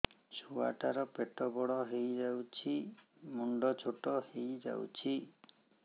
ଛୁଆ ଟା ର ପେଟ ବଡ ହେଇଯାଉଛି ମୁଣ୍ଡ ଛୋଟ ହେଇଯାଉଛି